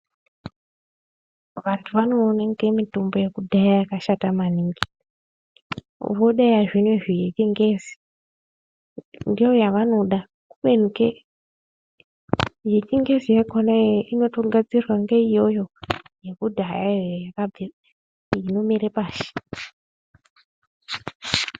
Vantu vanoene inge mitombo yekudhaya iya yakashata maningi voda yezvinezvi yechingezi ndiyo yavanoda kubeni ke yechingezi yakona inotogadzirwa ngeiyoyo yekudhayayo inomera pashi.